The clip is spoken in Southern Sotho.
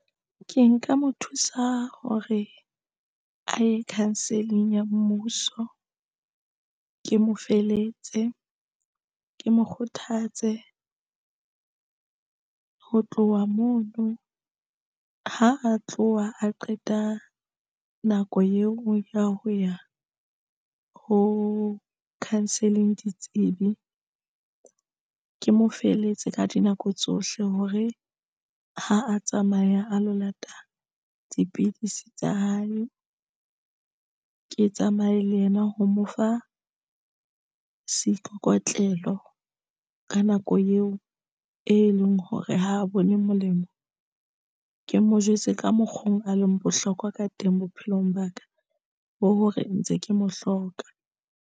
Ke nka mo thusa hore a ye counselling ya mmuso. Ke mo feletse ke mo kgothatse ho tloha mono, ha a tloha a qeta nako eo ya ho ya ho counselling ditsebi. Ke mo feletse ka dinako tsohle hore ha a tsamaya a lo lata dipidisi tsa hae, ke tsamaye le yena ho mo fa seikokotlelo ka nako eo e leng hore ha a bone molemo. Ke mo jwetse ka mokgo a leng bohlokwa ka teng bophelong ba ka bo hore ntse ke mo hloka.